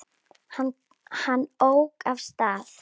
Hann ók af stað.